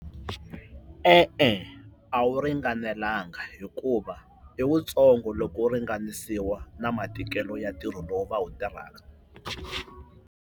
E-e, a wu ringanelanga hikuva i wutsongo loko wu ringanisiwa na matikelo ya ntirho lowu va wu tirhaka.